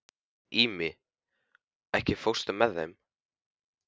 Ími, ekki fórstu með þeim?